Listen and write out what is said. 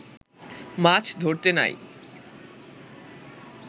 মাছ ধরতে নাই